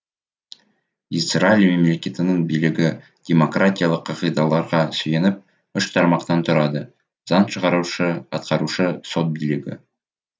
израиль мемлекетінің билігі демократиялық қағидаларға сүйеніп үш тармақтан тұрады заң шығарушы атқарушы сот билігі